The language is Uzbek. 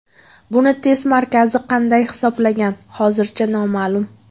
Buni test markazi qanday hisoblagan hozircha noma’lum.